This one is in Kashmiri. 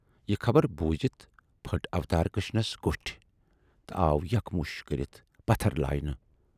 "یہِ خبر بوٗزِتھ پھُٹۍ اوتارکرشنس کوٹھۍ تہٕ آو یک مُش کٔرِتھ پتھر لاینہٕ۔